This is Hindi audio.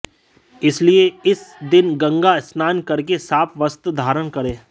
इसलिए इस दिन गंगा स्नान करके साफ वस्त्र धारण करें